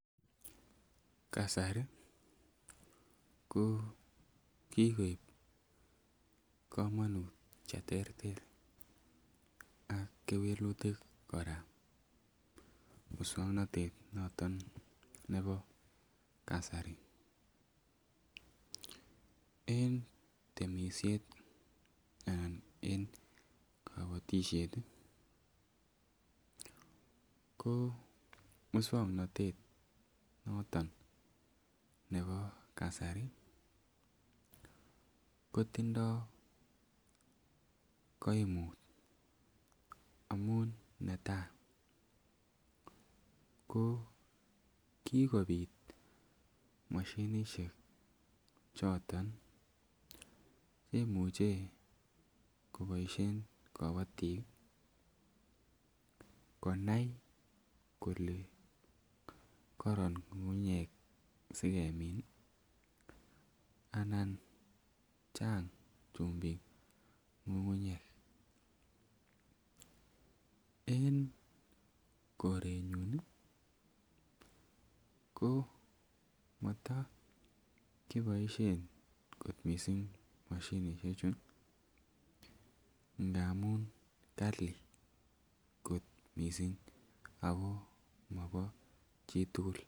Kasari ko kikoib komonut cheterter ak kewelutik kora muswongnotet noton nebo kasari en temisiet anan en kobotisiet ih ko muswongnotet noton nebo kasari kotindoo koimut amun netaa ko kikobit moshinisiek choton cheimuche koboisien kobotik konai kole koron ng'ung'unyek sikemin ih anan chang chumbik ng'ung'unyek, en koretnyun ih ko motokiboisien kot missing moshinisiek chu ngamun kali kot missing ako mobo chitugul